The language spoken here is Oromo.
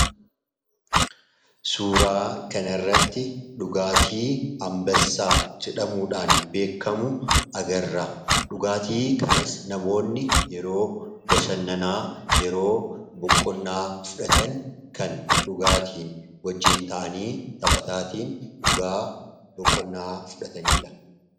suuraa kana irratti dhugaatii ambassaa jedhamuudhaan beekamu agarra dhugaatii kanas namoonni yeroo bashannanaa yeroo buqqonnaa fudhatan kan dhugaatiin wajjiin ta'anii taphataatiin dhugaa buqqonnaa fudhataniidha